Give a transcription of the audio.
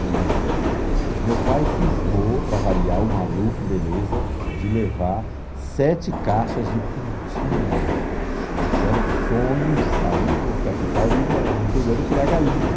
E meu pai cismou, para variar o maluco, beleza, de levar sete caixas de pintinho, porque era o sonho de sair de uma capital e ir morar no interior e criar galinha.